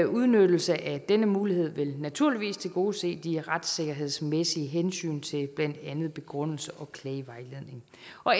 udnyttelse af denne mulighed vil naturligvis tilgodese de retssikkerhedsmæssige hensyn til blandt andet begrundelse og klagevejledning